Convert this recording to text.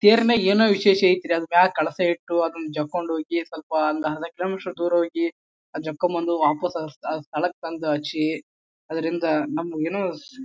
ತೆರ್ನಲ್ಲಿ ಏನೋ ವಿಶೇಷ ಐತ್ರಿ ಅದ್ನ ಮ್ಯಾಗ್ ಕಳಸ ಇಟ್ಟು ಅದ್ನ ಜಕ್ಕೊಂಡು ಹೋಗಿ ಸ್ವಲ್ಪ ಒಂದ ಅರ್ಧ ಕಿಲೋಮೀಟರ್ ದೂರ ಹೋಗಿ ಆ ಜಕ್ಕೊಂಬಂದು ವಾಪಸ್ ಅದರ ಸ್ಥಳ ಸ್ಥಳಕ್ಕೆ ತಂದು ಹಚ್ಚಿ ಆದಿರಂದ ನಮ್ಮ್ ಏನೋ--